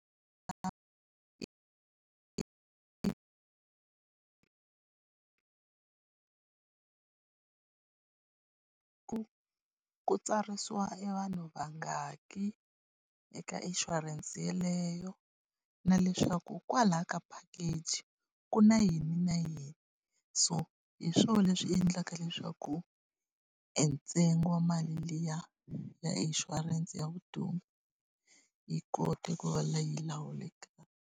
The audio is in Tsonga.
ku ku tsarisiwa e vanhu vangani eka inshurense yaleyo, na leswaku kwalaya ka package ku na yini na yini. So hi swona leswi endlaka leswaku e ntsengo wa mali liya ya inshurense ya vutomi, yi kota ku va leyi yi lawulekaka.